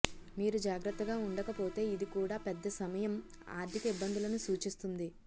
మీరు జాగ్రత్తగా ఉండకపోతే ఇది కూడా పెద్ద సమయం ఆర్థిక ఇబ్బందులను సూచిస్తుంది